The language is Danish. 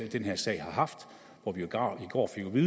den her sag har haft i går fik vi